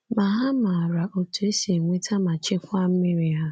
Ma ha maara otú e si enweta ma chekwaa mmiri ha.